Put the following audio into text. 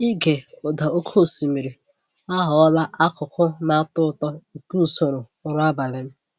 Ịge ụda oke osimiri aghọla akụkụ na-atọ ụtọ nke usoro ụra abalị m.